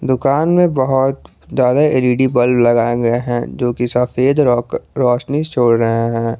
दुकान में बहुत ज्यादा एल_ई_डी बल्ब लगाए गए हैं जोकि सफेद रोशनी छोड़ रहे हैं।